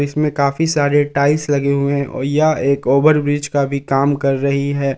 इसमें काफी सारे टाइल्स लगे हुए हैं और यह एक ओवर ब्रिज का भी काम कर रही है।